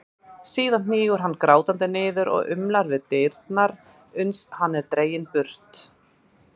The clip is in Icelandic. Síðan hnígur hann grátandi niður og umlar við dyrnar uns hann er dreginn burt.